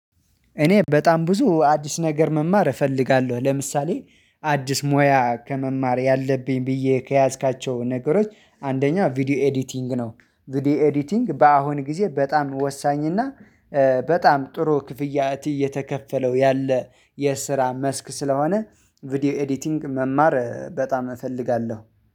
እኔ በጣም ብዙ አዲስ ነገር መማር እፈልጋለሁ ለምሳሌ አዲስ ሙያ ከመማር ያለብኝ ብዬ ከያዝኳቸው ነገሮች አንደኛ ቪዲዮ ኤዲቲንግ ነው። ቪዲዮ ኤዲቲንግ በአሁን ጊዜ በጣም ወሳኝና እና በጣም ጥሩ ክፍያ እየተከፈለው ያለ የስራ መስክ ስለሆነ ቪዲዮ ኤዲቲንግ መማር በጣም እፈልጋለሁ